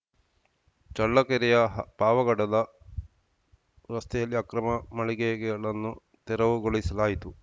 ಚಳ್ಳಕೆರೆಯ ಪಾವಗಡದ ರಸ್ತೆಯಲ್ಲಿ ಅಕ್ರಮ ಮಳಿಗೆಗಳನ್ನು ತೆರವುಗೊಳಿಸಲಾಯಿತು